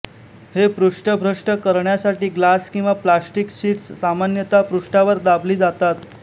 हे पृष्ठभ्रष्ट करण्यासाठी ग्लास किंवा प्लॅस्टिक शीट्स सामान्यतः पृष्ठावर दाबली जातात